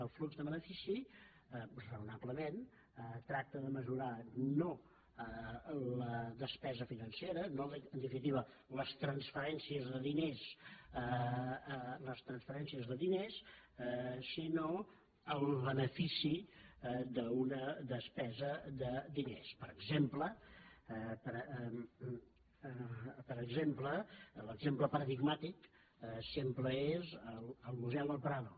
el flux de benefici raonablement tracta de mesurar no la despesa financera no en definitiva les transferènci·es de diners sinó el benefici d’una despesa de diners per exemple l’exemple paradigmàtic sempre és el mu·seu del prado